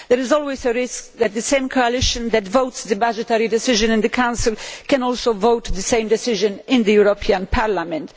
There is always a risk that the same coalition that adopts the budgetary decision in the Council can also adopt the same decision in the European Parliament.